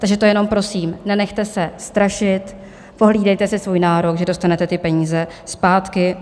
Takže to jenom prosím, nenechte se strašit, pohlídejte si svůj nárok, že dostanete ty peníze zpátky.